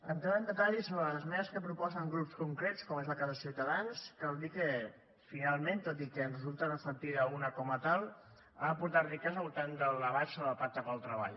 entrant en detall sobre les esmenes que proposen grups concrets com és el cas de ciutadans cal dir que finalment tot i que en resulta reflectida una com a tal han aportat riquesa al voltant del debat sobre el pacte pel treball